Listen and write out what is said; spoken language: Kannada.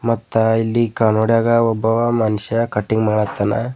ಮತ್ತಾ ಇಲ್ಲಿ ಕನ್ನಡಿಯಾಗ ಒಬ್ಬ ಮನುಷ್ಯ ಕಟಿಂಗ್ ಮಾಡತ್ತಾನ.